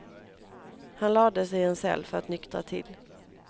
Han lades i en cell för att nyktra till.